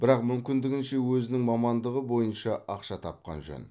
бірақ мүмкіндігінше өзінің мамандығы бойынша ақша тапқан жөн